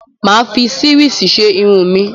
Mà á fi sírìsì ṣe irun mi.